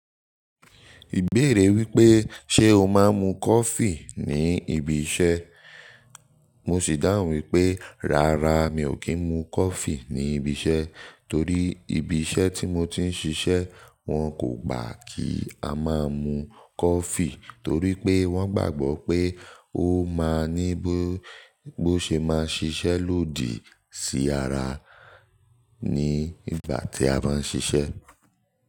Ìbéèrè wípé: Ṣé o máa ń mu coffee ní ibi isẹ? Mo sì dáhùn wípé, rárá mi ò kí ń mu coffee ní ibi isẹ torí ibi isẹ tí mo ti ń ṣíṣe wón kò gbà kí a máa mu coffee torí pé wón gbàgbó pé ó máa ń ní bó ṣe máa ṣiṣẹ́ lòdì sí ara ní ìgbà tí a bá ń ṣiṣẹ́